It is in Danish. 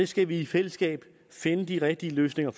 skal i fællesskab finde de rigtige løsninger